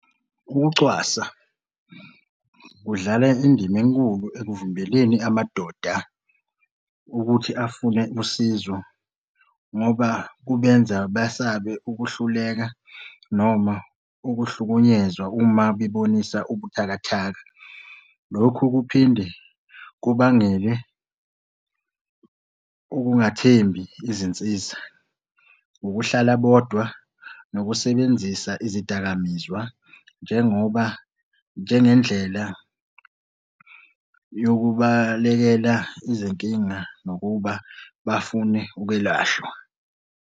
Ukucwasa kudlala indima enkulu ekuvimbeleni amadoda ukuthi afune usizo ngoba kubenza basabe ukuhluleka noma ukuhlukunyezwa uma bebonisa ubuthakathaka. Lokhu kuphinde kubangele ukungathembi izinsiza. Ukuhlala bodwa nokusebenzisa izidakamizwa njengoba njengendlela yokubalekela izinkinga, nokuba bafune ukwelashwa.